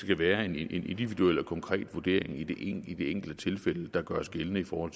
det være en individuel og konkret vurdering i det enkelte tilfælde der gøres gældende for